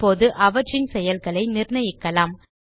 இப்போது அவற்றின் செயல்களை நிர்ணயிக்கலாம்